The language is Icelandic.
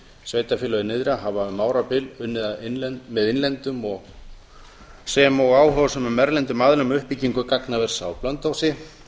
sveitarfélögin nyrðra hafa um árabil unnið með innlendum sem og áhugasömum erlendum aðilum að uppbyggingu gagnavers á blönduósi